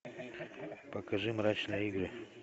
покажи мрачные игры